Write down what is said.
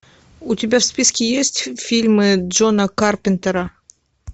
у тебя в списке есть фильмы джона карпентера